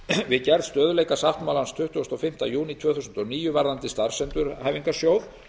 við gerð stöðugleikasáttmálans tuttugasta og fimmta júní tvö þúsund og níu um starfsendurhæfingarsjóð